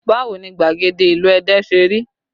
Báwo ni gbagede ìlú Ẹdẹ ṣe rí?